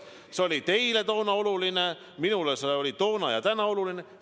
See oli teile toona oluline, minule oli see toona ja on ka täna oluline.